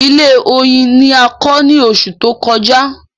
Ilé oyin ni a kọ ní oṣù tó kọjá